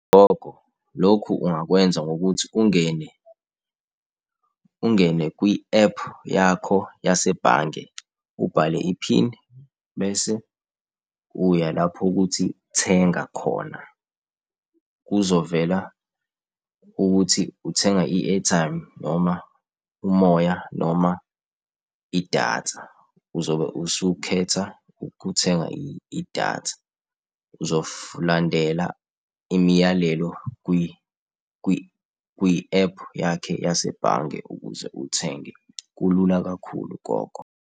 Lokhu ungakwenza ngokuthi ungene ungene kwi-ephu yakho yasebhange, ubhale i-pin bese uya lapho ekuthi thenga khona. Kuzovela ukuthi uthenga i-airtime noma umoya, noma idatha uzobe usukhetha ukuthenga idatha, uzo landela imiyalelo kwi-ephu yakhe yasebhange ukuze uthenge. Kulula kakhulu gogo.